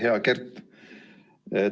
Hea Kert!